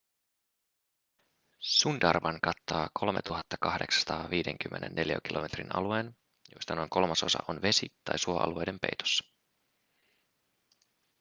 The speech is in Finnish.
sundarban kattaa 3 850 neliökilometrin alueen josta noin kolmasosa on vesi- tai suoalueiden peitossa